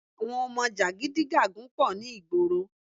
Àwọn ọmọ jàgidígàgun pọ̀ ní ìgboro